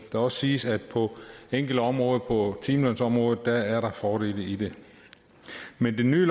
også siges at på enkelte områder på timelønsområdet er der fordele ved det men det nye